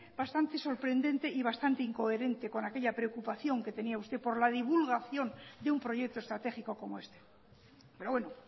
bastante sorprendente y bastante incoherente con aquella preocupación que tenía usted por la divulgación de un proyecto estratégico como este pero bueno